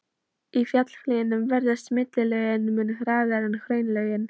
Í fjallahlíðum veðrast millilögin mun hraðar en hraunlögin.